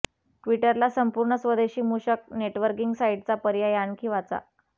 ट्वीटरला संपूर्ण स्वदेशी मूषक नेटवर्कींग साईटचा पर्याय आणखी वाचा